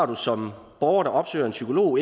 du som borger der opsøger en psykolog